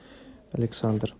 александр